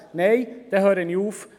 «Nein, dann höre ich auf.